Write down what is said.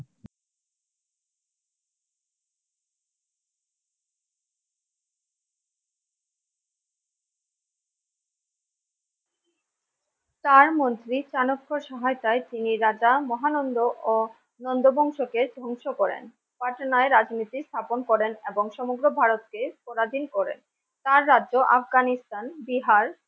তার মধ্যে চাণক্যর সহায়তায় যে রাজা-মহানন্দ ও নন্দ বংশকে ধ্বংস করেন। পার্টনায় রাজনীতি স্থাপন করেন। এবং সমগ্র ভারতকে পরাধীন করে তার রাজ্য আফগানিস্তান বিহার।